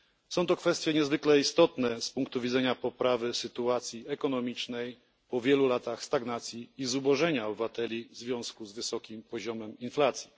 Są to kwestie niezwykle istotne z punktu widzenia poprawy sytuacji ekonomicznej po wielu latach stagnacji i zubożenia obywateli w związku z wysokim poziomem inflacji.